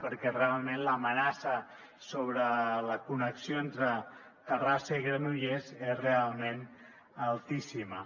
perquè realment l’amenaça sobre la connexió entre terrassa i granollers és altíssima